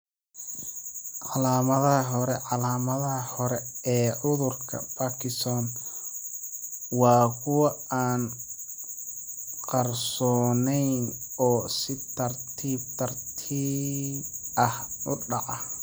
Calaamadaha hore Calaamadaha hore ee cudurka Parkinson waa kuwo aan qarsooneyn oo si tartiib tartiib ah u dhaca.